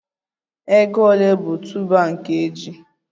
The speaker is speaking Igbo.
Ego ole bụ tuuba nke ji?